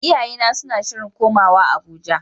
Iyayena suna shirin komawa Abuja.